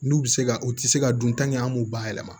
N'u bɛ se ka u tɛ se ka dun an b'u bayɛlɛma